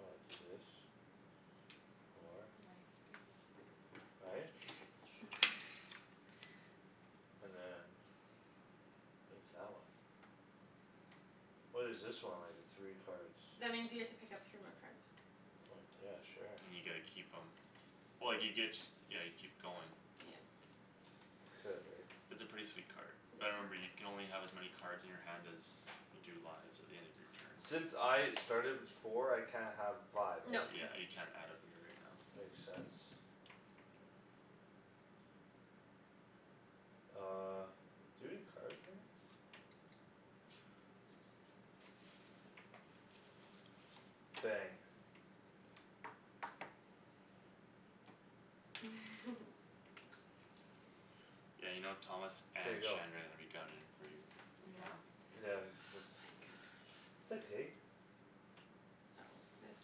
I'll do this. Four. Nice babe. Right? And then What is that one? What is this one? Like the three cards. That means you get to pick up three more cards. Oh, yeah, sure. And you get to keep 'em Oh, you get, yeah, you keep going. Yeah. Could, right? It's a pretty sweet card. Yeah. But remember you can only have as many Cards in your hand as you do lives At the end of your turns. Since I started with four I can't have five, right? No. Yeah, you can't add a beer right now. Makes sense. Uh, do you have any cards, Megan? Bang. Yeah, you know, Thomas K, and go. Shandryn are gonna be gunnin' for you right now. Yeah, Oh except my gosh. It's okay. Oh, this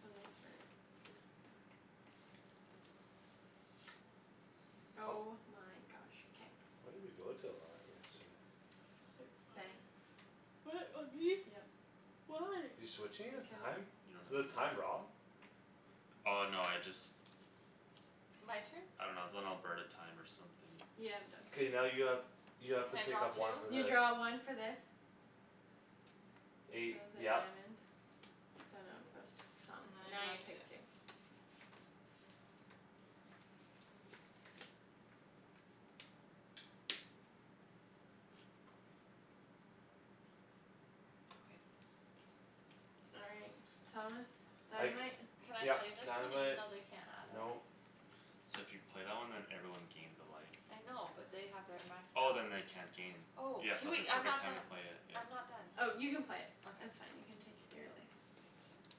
one was for Oh my gosh. K. When did we go to a live yesterday? Quick Bang. fire. What, on me? Yep. Why? You're switching his Because. time? You don't Is have the a list? time wrong? Oh, no, I just. My turn? I dunno, it's on Alberta time or something. Yeah, I'm done. K, now you have, you have to Can I pick draw up two? one for You this. draw one for this. So it Eight, was a yep. diamond, so now it goes to Thomas And then and I now draw you two. take two. Oh. Okay. All right. Thomas. I c- Dynamite. Can I yep, play this one even dynamite, though they can't add a nope. life? So if you play that one then everyone gains a life. I know, but they have their max Oh, health. then they can't gain. Oh, Yeah, hey, so it's a wait, I'm perfect not time to done. play it, yeah. I'm not done. Oh, you can play. That's Okay. fine; you can take your beer away. Thank you.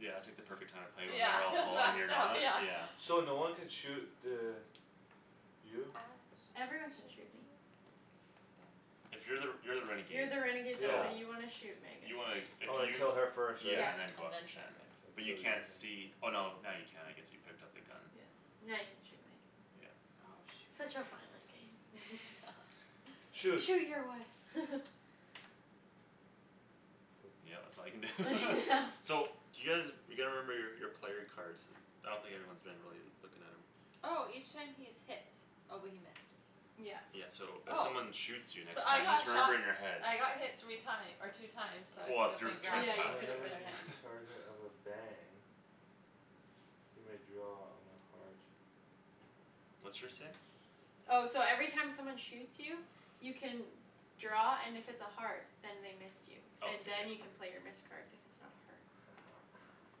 Yeah, it's like the perfect time to play it when Yeah, they're all full and that's you're down, not, yeah. yeah. So no one can shoot the You? I shot Everyone can the shoot me. sheriff. But If you're the, you're the You're renegade, the renegade though Yeah. so so you want to shoot Megan. You wanna, if Oh, I you kill her first, right? Yeah. Yeah, and then go And after then I Shandryn. Shan. But you kill you can't see, oh, no, now you can, I guess; you picked up the gun. Yeah, now you can shoot me. Yeah. Oh, Such shoot. a violent game. Shoot. "Shoot your wife!" Poop. Yeah, that's all you can do. Yeah. So do you guys, you gotta remember your, your player cards. I don't think anyone's been really looking at 'em. Oh! Each time he is hit. Oh, but he missed me. Yeah. Yeah, so if Oh. someone shoots you So next I time got just remember shot in your head. I got hit three time- or two times so I Well, if could've your been turn's Yeah, grabbing. you passed, could've Whenever been, yeah. he's Okay. yeah. a target of a bang you may draw on a heart. What's yours say? Oh, so every time someone shoots you You can draw, and if it's a heart, then they missed you. Oh, And k, yep. then you can play your missed cards if it's not a heart.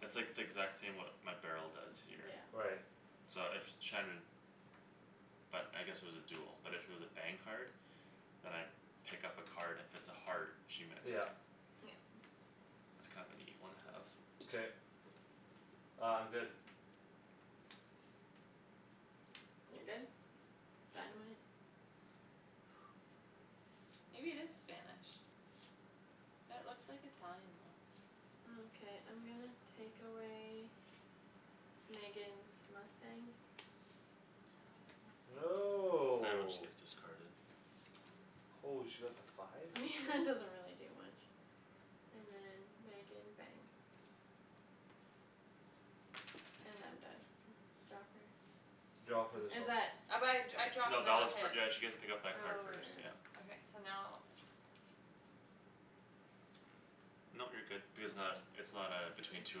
It's like the exact same, what my barrel does here. Yeah. Right. So if Shandryn But I guess it was a duel, but if it was a bang card Then I pick up a card, and if it's a heart, she missed. Yeah. Yep. That's kind of a neat one have. K. Uh, I'm good. You're good? Dynamite? Maybe it is Spanish. It looks like Italian, though. Okay, I'm gonna take away Megan's mustang. Oh, now I have nothing. Right when she No. gets discarded. Holy, she got the five? Doesn't really do much. And then, Megan, bang. And I'm done. Draw for? Draw Oh for but this Is one. that? I, I draw No, cuz I that was got for, hit. yeah, she get to pick up Oh, right, that card right, first, yeah. right. Okay, so now. Nope, you're good. Because it's not, Mhm. it's not uh, between two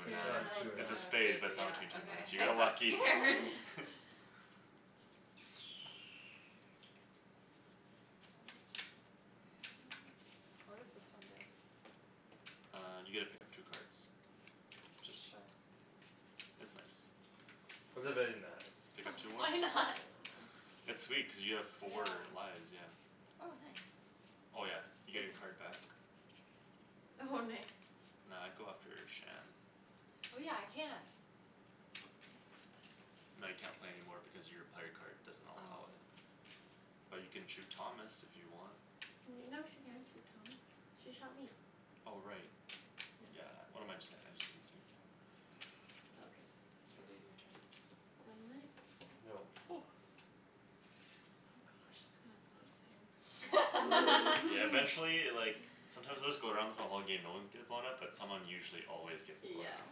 or Two It's or nine. not Oh, two or it's It's nine. a nine. a have spade, but it's a, yeah, not between two or nine. okay. So you I got got lucky. scared. What does this one do? Uh, you get to pick up two cards. It's just, Sure. it's nice. It's a Okay. very nice. Pick up two more. Why not? It's sweet cuz you have Yeah. four lives, yeah. Oh, nice. Oh, yeah, you get your Ooh. card back. Oh, nice. Nah, I'd go after Shan. Oh, yeah, I can. No, you can't play any more because your player card doesn't allow Oh. it. But you can shoot Thomas, if you want. No, she can't shoot Thomas. She shot me. Oh, right. Yeah. Yeah, what am I j- saying, I just didn't see anything. It's all good. K, babe, your Yeah. turn. Dynamite. No. Oh gosh, it's gonna blow soon. Yeah, eventually, like Sometimes it would just go around for the whole game, no ones get blown up, but someone usually always gets blown Yeah, up.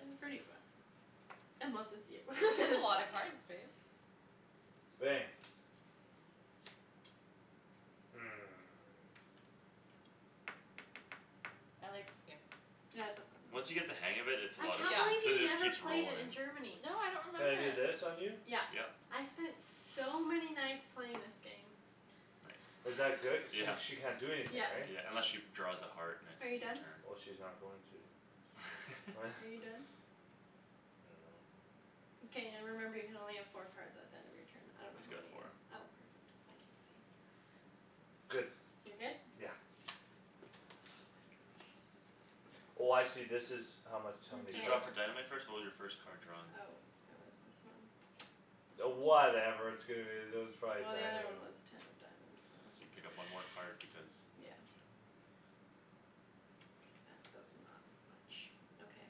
it's pretty fun. Unless it's you. You have Then a it's lot of cards, babe. Bang. Hmm. I like this game. Yeah, it's so fun. Once you get the hang of it, it's a I lot of can't Yeah. fun. believe Cuz it you just never keeps played it in rolling. Germany. No, I don't Can remember I do it. this on you? Yeah. Yep. I spent so many nights playing this game. Nice. Is that good, cuz sh- she can't do Yeah. anything, Yeah. right? Yeah, unless she draws a heart next Are you done? turn. Well, she's not going to. Are you done? I dunno. Mkay. Remember you can only have four cards at the end of your turn. I don't know He's how got many you, four. oh, perfect. I can't see. Good. You're good? Yeah. Oh my gosh. Oh, I see, this is how much how many You Okay. draw cards. for dynamite first? What was your first card drawn? Oh, it was this one. Oh, whatever, that was probably Well, the other one dynamite. was ten of diamonds, So you so. pick up one more card because, Yeah. yeah. That does not much. Okay,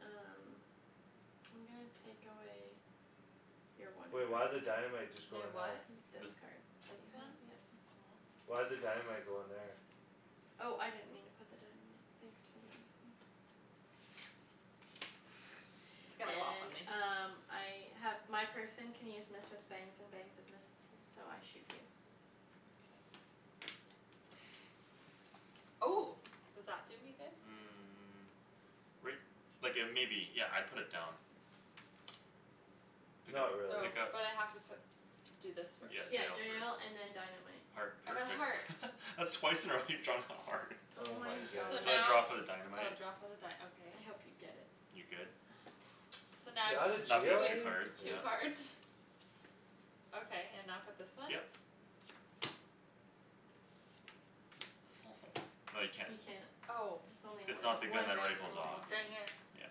um. I'm gonna take away Your one Wait, why'd the dynamite just My go in there? what? This This card. This You have, one? yep. Aw. Why'd the dynamite go in there? Oh, I didn't mean to put the dynamite. Thanks for noticing. It's gonna go off on And me. um, I have My person can use missed as bangs and bangs as missed-esses, so I shoot you. K. Oh. Does that do me good? Mm, right, like uh maybe. Yeah, I'd put it down. Pick Not up, Oh, really. pick up. but I have to put Do this Mm, first. Yeah, jail yeah first. and then dynamite. Heart, I got perfect. heart. That's twice in a row you've drawn a heart. Oh Oh my my So goodness. gosh. So I draw now for the Oh, dynamite. draw for the dy- okay. I hope you get it. You good? Ah, damn it. So now You're outta Now pick jail if, up two wait, already? cards, yeah. two Poop. cards? Okay, and now put this one? Yep. No, you can't. You can't. Oh. It's only It's one, not the gun one that bang per rifles Aw, off. turn, dang yeah. it. Yeah.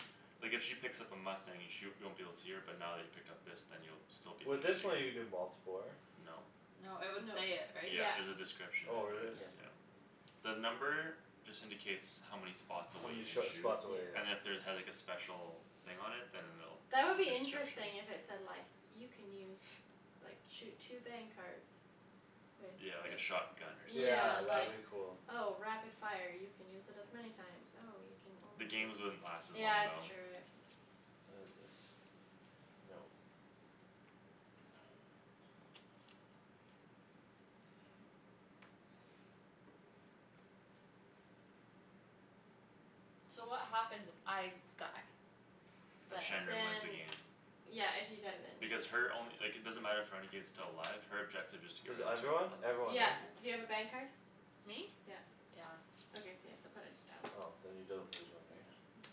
Like if she picks up a mustang, you sh- you won't be able to see her, but now that he picked up this then you'll still be able to With this see her. one, you can do multipler. No. No, it would No. say it, right? Yeah, Yeah. there's a description Oh, if there really? is, Yep. Okay. yeah. The number just indicates how many H- spots how away you many can sh- shoot. spots away, Yeah. And if yeah. there had like a special thing on it, then it'll, That would like be a description. interesting, if it said like You can use, like, shoot two bang cards With Yeah, like a this. shotgun or something, Yeah, Yeah, that like, would be yeah. cool. oh, rapid fire, you can use it as many times. Oh, you can The only games wouldn't last as long, Yeah, it's though. true, it What is this? Nope. So what happens if I die? Then Then Shandryn wins the Then game. Yeah, if you die then. Because her only, like, it doesn't matter if renegade's still alive, her objective is to get Cuz rid of two everyone? outlaws. Everyone, Yeah, right? do you have a bang card? Me? Yeah. Yeah. Okay, so you have to put it down. Oh, then you don't lose one these. No.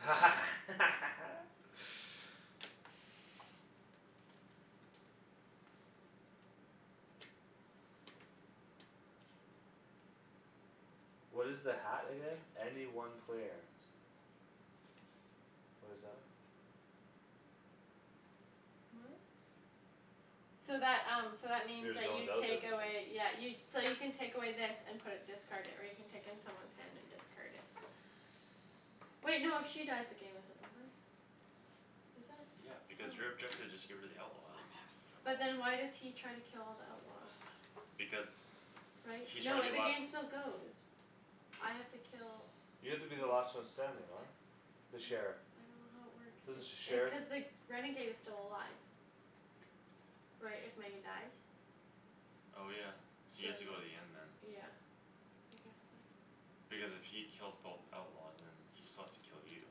What is the hat again? Any one player. What is that? What? So that, um, so that means Your you take away, yeah, you So you can take away this and put it discarded, or you can take in someone's hand and discard it. Wait, no, if she dies, the game isn't over. Is it? Yeah, because your Oh. objective is just get rid of the outlaws. I'm having But then troubles. why does he try to kill all the outlaws? Because Right? He's No, trying to it, be the last game still goes. I have to kill You have to be the last one standing, right? I'm The sheriff. s- I don't know how it works, This the sh- if uh sheriff? cuz the renegade is still alive. Right, if Megan dies? Oh, yeah, so you have Same, to go to the end then. yeah. I guess so. Because if he kills both outlaws, then he still has to kill you.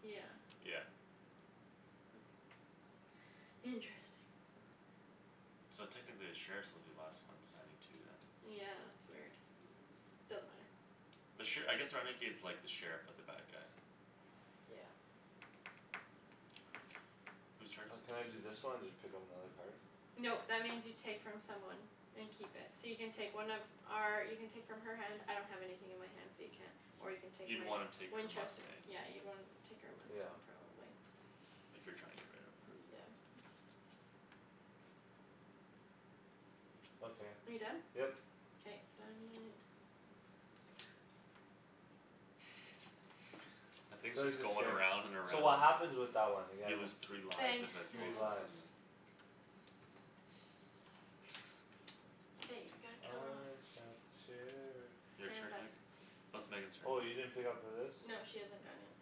Yeah. Yeah. Okay. Interesting. So technically the sheriffs will be the last one standing too, then. Yeah, it's weird. Doesn't matter. The sher- I guess the renegade's like the sheriff, but the bad guy. Yeah. Whose turn is Can I it? do this one and just pick up another card? Nope, that means you take from someone. And keep it. So you can take one of our, you can take from her hand, I don't have anything in my hand so you can't. Or you can take You'd my wanna take her Winchester, mustang. yeah, you'd wanna take our Yeah. mustang probably. If you're trying to get rid of her. Mm, yeah. Okay. Are you done? Yep. K, dynamite. That thing's just is going scared. around and So around. what happens with that one again? You lose three lives Bang, if it Three blows Megan. up on lives. you. Hey, we gotta kill her off. I shot the sheriff. Your K, I'm turn, done. Meg? No, it's Megan's turn. Oh, you didn't pick up for this? No, she hasn't gone yet.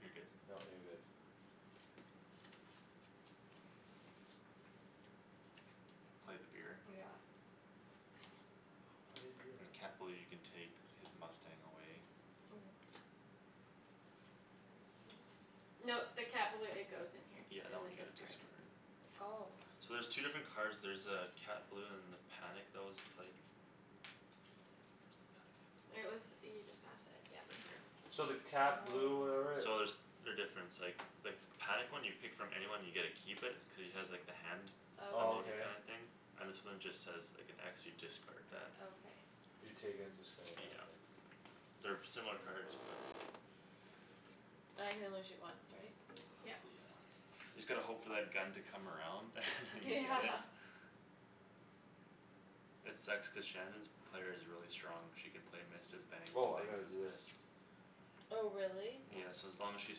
You're good. No, you're good. Play the beer. Yeah. Dang it. Why you do And Cat that? Balou, you can take his mustang away. Ooh. Yes, please. No, the Cat Balou, it goes in here. Yeah, that In one the you gotta discard. discard. Oh. So there's two different Yeah. cards, there's uh Cat Balou and the panic that was played. Where's the panic? It was, you just passed it, yeah. Right here. So the cat blue Oh. or whatever So there's, they're different; it's like the panic one, you pick from anyone and you get to keep it, cuz he has like the hand Oh, emoji okay. kinda Okay. thing? And this one just says, like, an x, you discard What? that. Okay. You take it and discard it, yeah Yeah. okay. They're similar cards, but. I can only shoot once, right? Yeah. Yep. You just gotta hope for that gun to come around and then you Yeah. get it. It sucks cuz Shandryn's player is really strong, she can play missed as bangs and Woah, I bangs gotta as do this. missed. Oh, really? Yeah, Mm. so as long as she's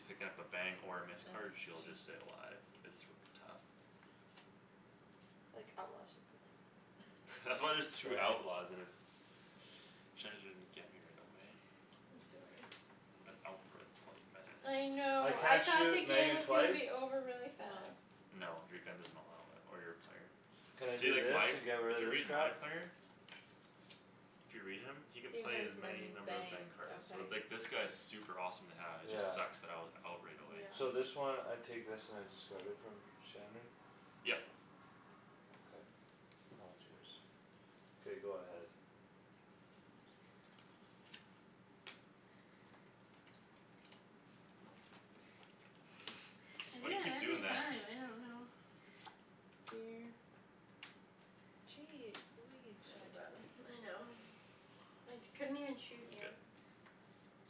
picking up a bang or a Mm. missed card, Miss. she'll just stay alive. It's r- tough. Like, outlaw should be like That's that. why there's two Bang. outlaws and it's, Shandryn get me right away. I'm sorry. I've been out for like, twenty I minutes. I know, I can't thought the shoot game Megan was gonna twice? be over really No. fast. No, your gun doesn't allow it. Or your player. Can I See, do like, this my, and get if rid you of this read my crap? player If you read him, he can You play has as many many number of bang bangs. cards, so, Okay. like, this guy's super awesome to have; it Yeah. just sucks that I was out right away. Yeah. So this one, I take this and I discard it from Shandryn? Yep. K. Now it's yours. K, go ahead. Nope. I do Why do you that keep every doing that? time, I don't know. Weird. Jeez, believe, I'm Shandryn. done. I know. I t- couldn't even shoot Y- you. good.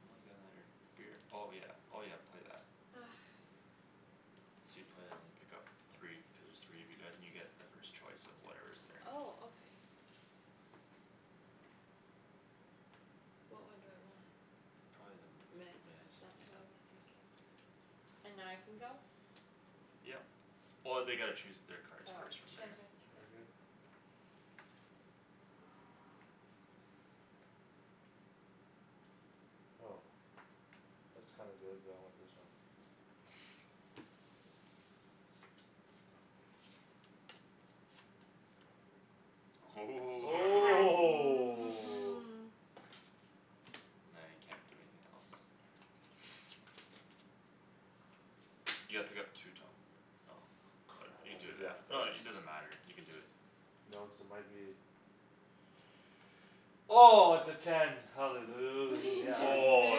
And I got another beer, oh yeah, oh yeah, play that. Argh. So you play that and you pick up three, cuz there's three of you guys and you get the first choice of whatever's there. Oh, okay. What one do I want? Probably the Miss, missed, that's yeah. what I was thinking. And now I can go? Yep. Oh, they gotta choose their cards Oh. first from there. Shandryn. Target. Go. That's kinda good but I want this one. Ooh Yes. Oh! Now you can't do anything else. You gotta pick up two, Tom, oh. Good, Crap, I you have to do do that that. No, first. it, it doesn't matter; you can do it. No, cuz it might be Oh, it's a ten, We hallelujah. Oh,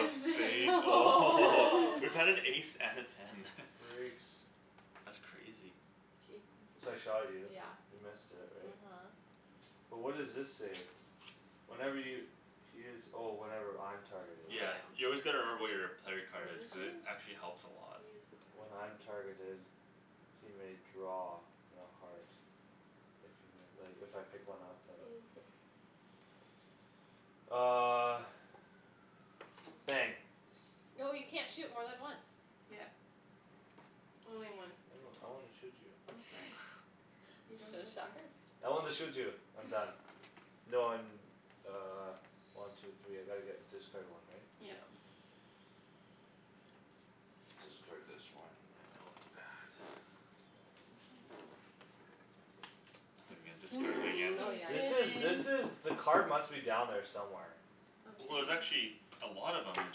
a missed it! spade? Oh. Woah! We've had an ace and a ten. Freaks. That's crazy. So K, I shot you, yeah, you missed it, right? uh-huh. But what does this say? Whenever y- he is, oh, whenever I'm targeted. Yeah, Yeah. you always gotta remember what your player What card is, is cuz it yours? actually helps a lot. He is When I'm a target of targeted He may draw on a heart. If you mi- like, if I pick one up, then. Okay. Uh Bang. No, you can't shoot more than once. Yeah. Only one I per don't, I wanna turn. shoot you. I'm sorry. You don't So, get to. shot her. I wanna shoot you. I'm done. No, I'm uh, one, two, three, I gotta get, discard one, right? Yeah. Yeah. Discard this one, I know it's bad. I thought you were gonna discard it again. Oh, yeah, This is, this is, Didn't! yeah the card must be down there somewhere. Well, there's Okay. actually a lot of 'em, it's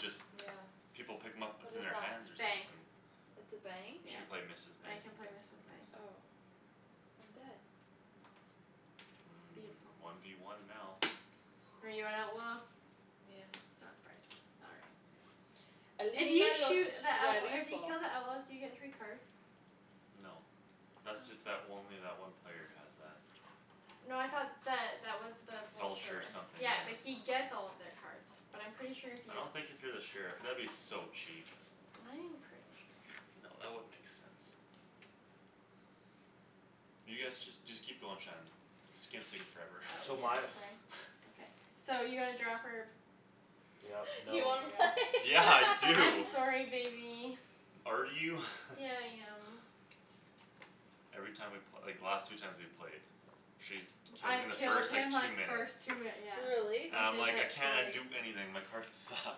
just Yeah. people pick 'em up, What it's in is their that? hands or Bang. something. It's a bang? She can Yeah. play missed as I bangs can and play bangs missed as as bangs. missed. Oh. I'm dead. Mm, Beautiful. one v one now. Are you an outlaw? Yeah. Not surprised. All right. If you los shoot the outlaw, if you sheriffo. kill the outlaws, do you get three cards? No. How Thats is if that w- it? only that one player has that. No, I thought that that was the Vulture vulture. something, Yeah, yeah. but he gets all of their cards. But I'm pretty sure if I you don't think if you're the sheriff, that would be so cheap. I am pretty sure. No, that wouldn't make sense. You guys, just, just keep going, Shan. This game's taking forever. Oh, So yeah, my sorry, okay. So you gotta draw for? Yep, You No, nope. wanna play? right? Yeah. I I'm do! sorry, baby. Are you? Yeah, I am. Every time we pl- like, the last two times we played She's t- kills me in I've the killed first, like, him two like minutes. first two yeah. Really? And I I'm did like, "I that cannot twice. do anything; my cards suck."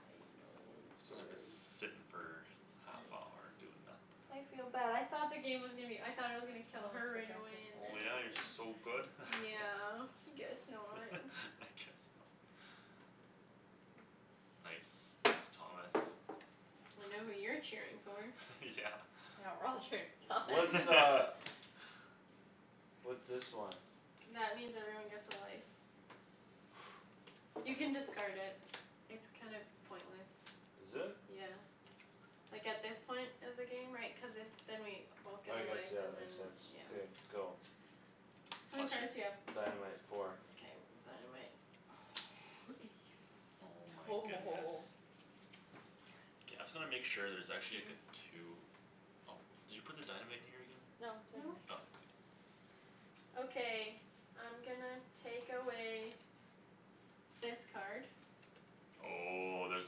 I know, I'm sorry. sittin' for half I hour, doing I nothing. feel bad; I thought the game was gonna be o- I thought I was gonna kill her for right away dresses. and then Oh, I yeah, you're was so g- good? Yeah, guess not. I guess not. Nice. Nice, Thomas. I know who you're cheering for. Yeah. Yeah, we're all cheering for Thomas. What's uh What's this one? That means everyone gets a life. You can discard it. It's kind of pointless. Is it? Yeah. Like, at this point of the game, right, cuz if Then we both get I a guess, life yeah, that and then, makes sense. yeah. Beer, go. How many Plus cards do you your have? Dynamite, four. Mkay, dynamite. Oh, ace. Oh my goodness. Woah. K, I'm just gonna make sure there's actually, like, a two. Oh, did you put the dynamite in here again? No, it's right No. Oh, k. here. Okay, I'm gonna take away this card. Oh, there's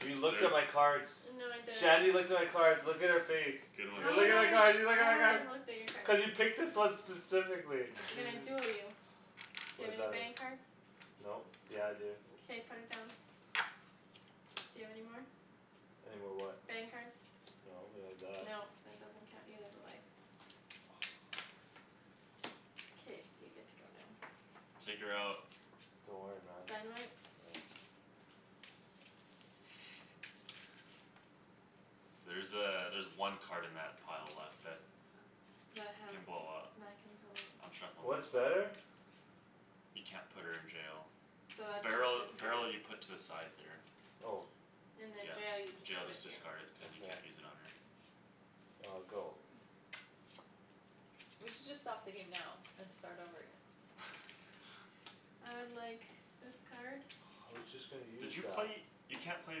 a You cl- looked there at my cards. No, I didn't. Shandryn looked at my cards; look at her face. Good one, You How look would at I, my card, Shan. you look how at my would I have cards! looked at your cards? Cuz you picked this one specifically I'm gonna duel you. Do What you have does any that mean? bang cards? Nope. Yeah I do K, put it down. Do you have any more? Any more what? Bang cards. No, but I have that. No, that doesn't count; you lose a life. K, you get to go now. Take her out. Don't worry, man. Dynamite? No. There's uh, there's one card in that pile left that That has can d- blow up. that can blow I'm up. shuffling What's this. better? You can't put her in jail. So that's Barrel, just discard. barrel, you put to the side there. Oh. And then jail you Yeah. just Jail, put just here. discard it, cuz you Okay. can't use it on her. Uh, go. We should just stop the game now and start over again. I would like this card. I was just gonna Did use you that. play? You can't play a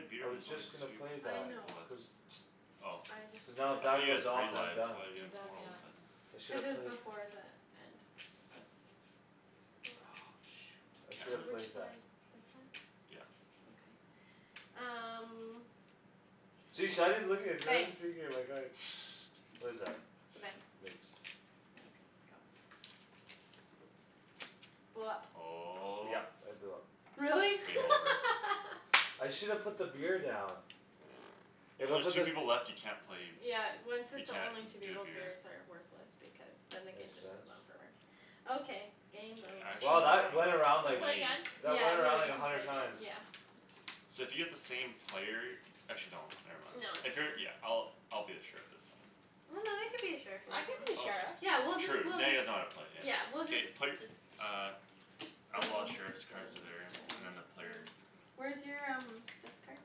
beer I when was there's only just gonna two play I that. know. people left. Cuz Oh. I just Cuz now if I that thought took you had goes three off, then I'm lives, done. why do you You're have done, four all of yeah. a Mm. sudden? I should Cuz it have was played before the end of I shoulda Which played that. side, this side? Yeah. Okay. Um See, Shandryn's looking, Bang. Shandryn's peeking at my cards. What is that? It's a bang. Mixed. Okay, go. Blow up. Oh. Yep, I blew up. Really? Game Yeah. over. I shoulda put the beer down. Yeah, If when I there's just two people left, you can't play b- Yeah, when, since You there can't only two d- do a people, beer. beers are worthless because then the game Makes just sense. on forever. Okay, K, game I over. actually Wow, wanna that went around, Can we like, play play. again? that Yeah, went around, we'll, we like, a can play hundred again, times. yeah. So if you get the same player Actually no, never mind. No, it's If you're, yeah, fine. I'll, I'll be the sheriff this time. Well, no, they could be a sheriff I could be a Okay. sheriff. Yeah, we'll just, Sure, true. we'll Now you just guys know how to play, yeah. Yeah, we'll just K, play, d- uh Outlaws, sheriffs cards there, and then the player Where's your um, this card?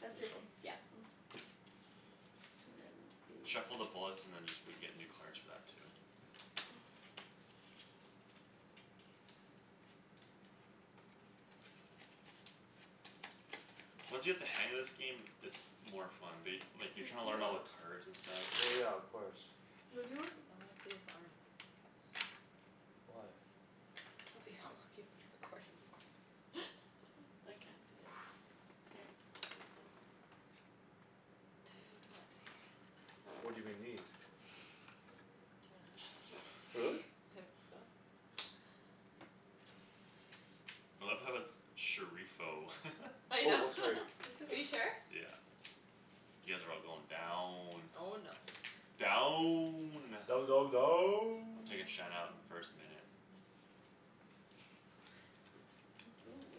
That's This your, one? yeah. And then Shuffle the these. bullets and then just, we get new cards for that too. Once you get the hang of this game, it's more fun. But y- like, you're trying to learn all the cards and stuff. Well, yeah, of course. What do you want? I wanna see his arm. Why? To see how long you've been recording for. I can't see it here. Two twenty. What do they need? Two Really? and a half. I love how it's "sheriffo." I Wait, know. what's her? It's Are you okay. sheriff? Yeah. You guys are all going down. Oh, no. Down! Down, down, I'm down. taking Shan out in the first minute. Ooh.